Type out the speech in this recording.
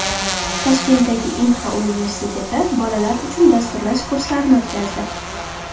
Toshkentdagi Inha universiteti bolalar uchun dasturlash kurslarini o‘tkazdi.